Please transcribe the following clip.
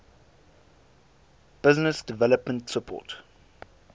business development support